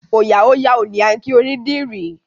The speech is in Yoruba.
Òòyà ó yà o! ni a kí onídìrí.